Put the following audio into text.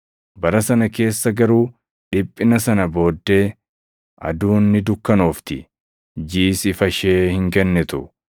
“Bara sana keessa garuu dhiphina sana booddee, “ ‘Aduun ni dukkanoofti; jiʼis ifa ishee hin kennitu;